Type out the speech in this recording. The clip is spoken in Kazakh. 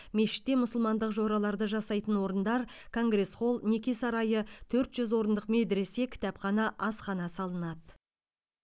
мешітте мұсылмандық жораларды жасайтын орындар конгресс холл неке сарайы төрт жүз орындық медресе кітапхана асхана салынады